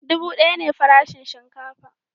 Dubu daya ne farashin shinkafa